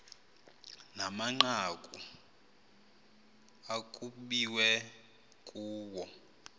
namanqaku ekukbiwe kuwo